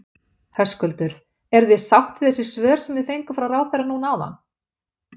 Höskuldur: Eruð þið sátt við þessi svör sem þið fenguð frá ráðherra núna áðan?